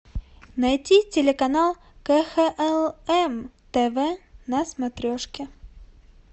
найти телеканал кхлм тв на смотрешке